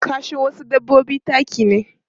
Kashin wasu dabbobi taki ne.